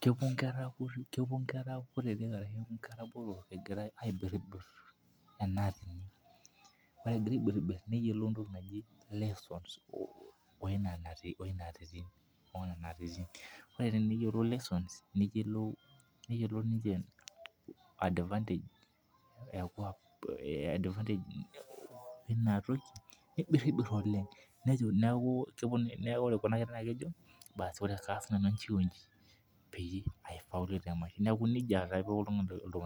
kepuo inkera kutitik ashu inkera botorro aipirpurr ena atini neyiolou entoki naji lessons[cs oo nena nkatitin, ore teneyiolou lessons neyiolou ninche advantage ya kuwa eina toki, neibirbir oleng nejo, naaku ore kuna kerra naaku kejo, baas kaas nanu ena onji peyie aifaulu temaisha, naaku neja aa duo eiko.